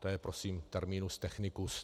To je prosím terminus technicus.